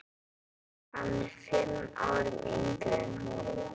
Hann er fimm árum yngri en hún.